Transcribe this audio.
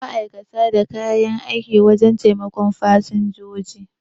Ma'aikatan da kan yi aiki wajen taimakon fasinjiji